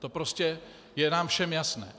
To prostě je nám všem jasné.